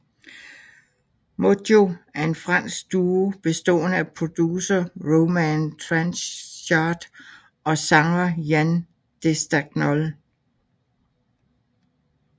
Modjo er en fransk duo bestående af producer Romain Tranchart og sanger Yann Destagnol